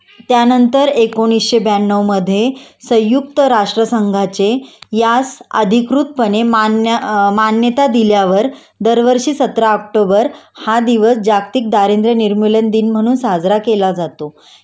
त्यानंतर एकोणीशे ब्याणवमधे संयुक्त राष्ट्र संघाचे यास अधिकृतपणे मान्य मान्यता दिल्यावर दरवर्षी सतरा ऑक्टोबर हा दिवस जागतिक दारिद्र्य निर्मूलन दिन म्हणून साजरा केला जातो